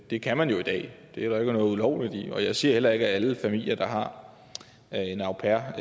det kan man jo i dag det er der ikke noget ulovligt i jeg siger heller ikke at alle familier der har en au pair